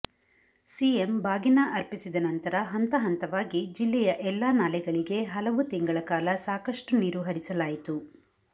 CM ಬಾಗಿನ ಅರ್ಪಿಸಿದ ನಂತರ ಹಂತ ಹಂತವಾಗಿ ಜಿಲ್ಲೆಯ ಎಲ್ಲಾ ನಾಲೆಗಳಿಗೆ ಹಲವು ತಿಂಗಳ ಕಾಲ ಸಾಕಷ್ಟುನೀರು ಹರಿಸಲಾಯಿತು